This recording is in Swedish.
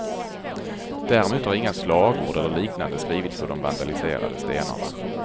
Däremot har inga slagord eller liknande skrivits på de vandaliserade stenarna.